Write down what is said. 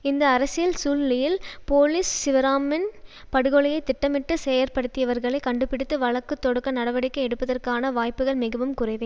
இந்த அரசியல் சூழ்நிலையில் போலிஸ் சிவராமின் படுகொலையை திட்டமிட்டு செயற்படுத்தியவர்களை கண்டுபிடித்து வழக்கு தொடுக்க நடவடிக்கை எடுப்பதற்கான வாய்ப்புகள் மிகவும் குறைவே